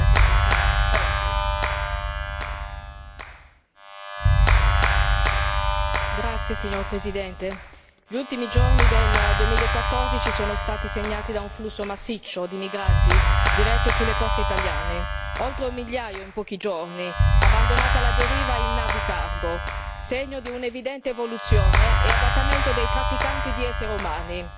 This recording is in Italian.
Signora Presidente, onorevoli colleghi, gli ultimi giorni del 2014 sono stati segnati da un flusso massiccio di migranti diretti sulle coste italiane, oltre un migliaio in pochi giorni, abbandonati alla deriva in navi cargo, segno di un'evidente evoluzione e adattamento dei trafficanti di esseri umani.